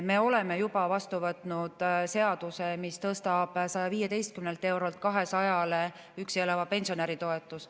Me oleme juba vastu võtnud seaduse, mis tõstab üksi elava pensionäri toetuse 115 eurolt 200 eurole.